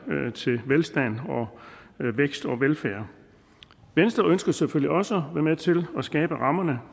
til velstand vækst og velfærd venstre ønsker selvfølgelig også at være med til at skabe rammerne